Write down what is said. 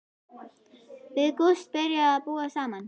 Við Gústi byrjuðum að búa saman.